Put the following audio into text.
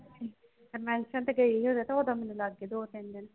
ਤੇ convention ਤੇ ਗਈ ਹੀ ਓਦੋਂ ਤੋਰਨ ਨੂੰ ਲੱਗ ਗਏ ਦੋ ਤਿੰਨ ਦਿਨ।